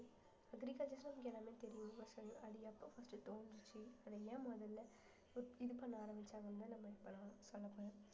agriculture உங்க எல்லாமே தெரியும் நான் சொல்லுவேன் அது எப்ப first உ தோன்றுச்சுஅத ஏன் முதல்ல இ~ இது பண்ண ஆரம்பிச்சாங்கன்னுதான் நம்ம இப்ப சொல்லப் போறேன்